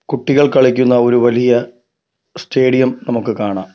കുട്ടികൾ കളിക്കുന്ന ഒരു വലിയ സ്റ്റേഡിയം നമുക്ക് കാണാം.